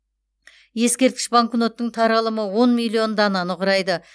ескерткіш банкноттың таралымы он миллион дананы құрайды